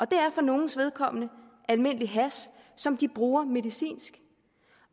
det er for nogles vedkommende almindelig hash som de bruger medicinsk